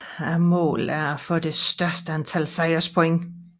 Målet er at få det højeste antal sejrspoint